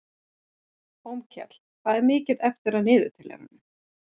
Hólmkell, hvað er mikið eftir af niðurteljaranum?